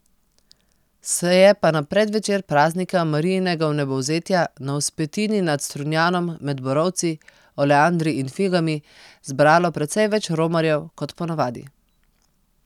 Se je pa na predvečer praznika Marijinega vnebovzetja na vzpetini nad Strunjanom med borovci, oleandri in figami zbralo precej več romarjev kot po navadi.